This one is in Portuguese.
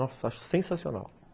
Nossa, acho sensacional.